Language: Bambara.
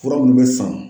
Fura minnu bɛ san